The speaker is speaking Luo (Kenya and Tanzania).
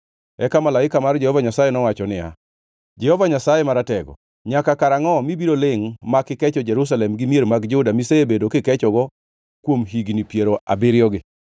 Eka malaika mar Jehova Nyasaye nowacho niya, “Jehova Nyasaye Maratego, nyaka karangʼo mibiro lingʼ mak ikecho Jerusalem gi mier mag Juda misebedo kikechogo kuom higni piero abiriyogi?”